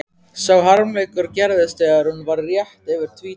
Sá harmleikur gerðist þegar hún var rétt yfir tvítugt að